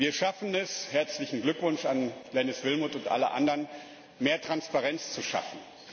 Wir schaffen es herzlichen Glückwunsch an Glenis Willmott und alle anderen mehr Transparenz zu schaffen.